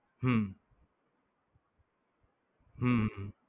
હમ હમ